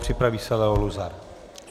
Připraví se Leo Luzar.